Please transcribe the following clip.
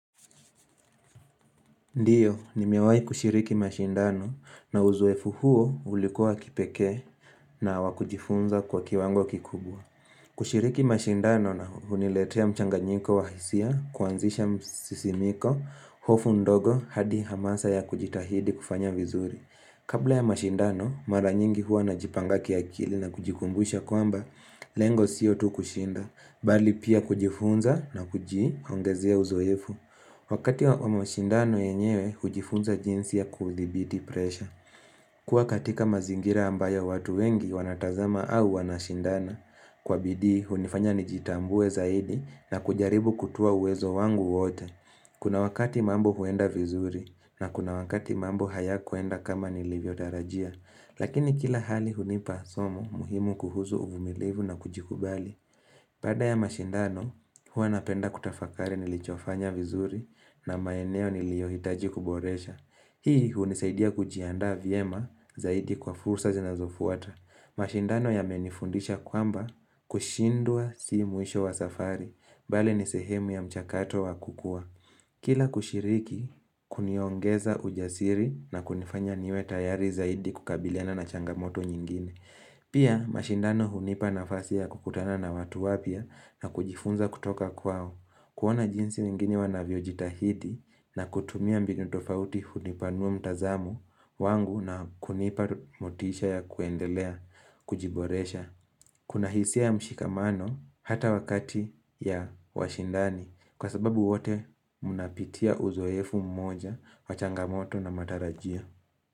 Ndiyo, nimewai kushiriki mashindano na uzoefu huo ulikuwa kipekee na wakujifunza kwa kiwango kikubwa. Kushiriki mashindano na huniletea mchanganyiko wahisia, kuanzisha msisimiko, hofu ndogo hadi hamasa ya kujitahidi kufanya vizuri. Kabla ya mashindano, mara nyingi huwa na jipanga kiakili na kujikumbusha kwamba, lengo siyo tu kushinda, bali pia kujifunza na kuji ongezea uzoefu. Wakati wa mashindano yenyewe, hujifunza jinsi ya kuthibiti presha. Kuwa katika mazingira ambayo watu wengi wanatazama au wanashindana. Kwabidii, hunifanya nijitambue zaidi na kujaribu kutua uwezo wangu wote. Kuna wakati mambo huenda vizuri na kuna wakati mambo haya kwenda kama nilivyo tarajia. Lakini kila hali hunipa somo muhimu kuhuzu uvumilivu na kujikubali. Baada ya mashindano, huwa napenda kutafakari nilichofanya vizuri na maeneo niliyohitaji kuboresha. Hii hunisaidia kujiandaa vyema zaidi kwa fursa zinazofuata. Mashindano yamenifundisha kwamba kushindwa si mwisho wa safari, bali nisehemu ya mchakato wa kukua. Kila kushiriki, kuniongeza ujasiri na kunifanya niwe tayari zaidi kukabiliana na changamoto nyingine. Pia mashindano hunipa nafasi ya kukutana na watu wapya na kujifunza kutoka kwao kuoana jinsi wengini wanavyojitahidi na kutumia mbinu tofauti hunipanua mtazamo wangu na kunipa motisha ya kuendelea, kujiboresha Kuna hisia ya mshikamano hata wakati ya washindani kwa sababu wote munapitia uzoefu mmoja wa changamoto na matarajia.